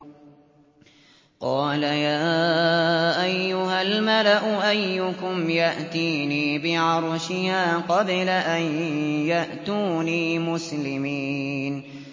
قَالَ يَا أَيُّهَا الْمَلَأُ أَيُّكُمْ يَأْتِينِي بِعَرْشِهَا قَبْلَ أَن يَأْتُونِي مُسْلِمِينَ